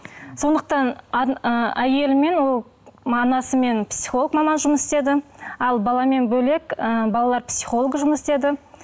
сондықтан ы әйелімен ол анасымен психолог маман жұмыс істеді ал баламен бөлек ы балалар психологы жұмыс істеді